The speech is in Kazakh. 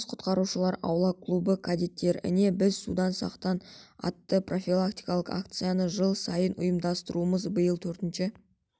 жас құтқарушылар аула клубы кедеттіктеріне біз судан сақтан атты профилактикалық акцияны жыл сайын ұйымдастырамыз биыл төртінші